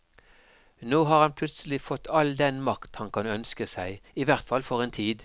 Nå har han plutselig fått all den makt han kan ønske seg, i hvert fall for en tid.